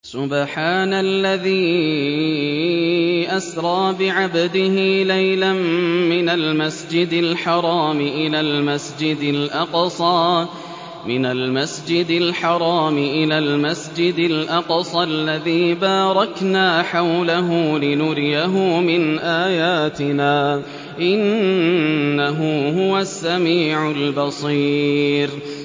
سُبْحَانَ الَّذِي أَسْرَىٰ بِعَبْدِهِ لَيْلًا مِّنَ الْمَسْجِدِ الْحَرَامِ إِلَى الْمَسْجِدِ الْأَقْصَى الَّذِي بَارَكْنَا حَوْلَهُ لِنُرِيَهُ مِنْ آيَاتِنَا ۚ إِنَّهُ هُوَ السَّمِيعُ الْبَصِيرُ